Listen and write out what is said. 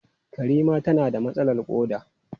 Karima tana da matsalar koda.